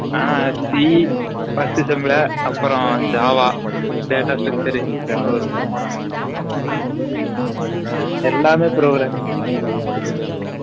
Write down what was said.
ஆ c first sem ல அப்ரம் JAVA , data structure இதெல்லம் வரும் எல்லமே programming தான்.